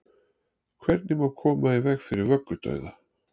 hvernig má koma í veg fyrir vöggudauða